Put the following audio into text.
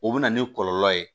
O bɛ na ni kɔlɔlɔ ye